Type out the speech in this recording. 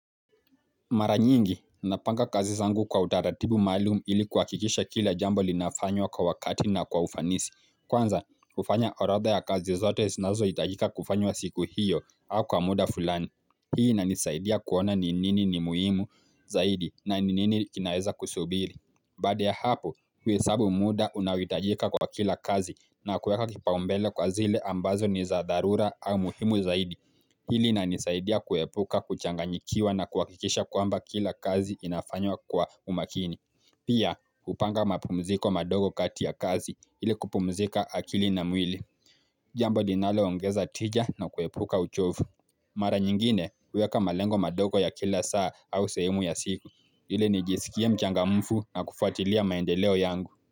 Mara nyingi, napanga kazi zangu kwa utaratibu maalumu ili kuhakikisha kila jambo linafanywa kwa wakati na kwa ufanisi Kwanza, hufanya orodha ya kazi zote zinazohitajika kufanywa siku hiyo au kwa muda fulani Hii inanisaidia kuona ni nini ni muhimu zaidi na ni nini kinaeza kusubiri Baada ya hapo, huhesabu muda unaohitajika kwa kila kazi na kuweka kipaombele kwa zile ambazo ni za dharura au muhimu zaidi ili linanisaidia kuepuka kuchanganyikiwa na kuhakikisha kwamba kila kazi inafanywa kwa umakini Pia kupanga mapumziko madogo kati ya kazi ili kupumzika akili na mwili Jambo linaloongeza tija na kuepuka uchovu Mara nyingine huweka malengo madogo ya kila saa au sehemu ya siku ili nijisikie mchangamfu na kufuatilia maendeleo yangu.